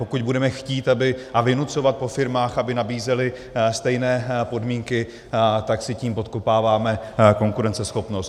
Pokud budeme chtít a vynucovat po firmách, aby nabízely stejné podmínky, tak si tím podkopáváme konkurenceschopnost.